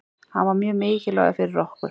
Hann var mjög mikilvægur fyrir okkur.